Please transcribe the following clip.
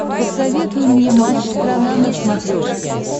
посоветуй мне матч страна на смотрешке